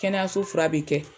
Kɛnɛyaso fura bɛ kɛ